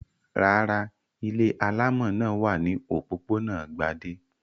Rárá, ilé alámọ̀ náà wà ní òpópónà Gbadé.